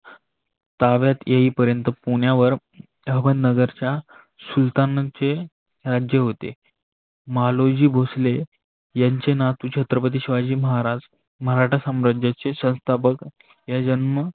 ताब्यात येईल पर्यंत पुण्यावर अहमदनगरच्या सुलतांचे राज्य होते. मालोजी भोसले याचे नातू छत्रपती शिवाजी महाराज मराठा सम्राजाचे संस्थापक या जन्म